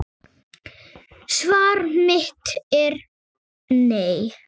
Svar mitt er nei.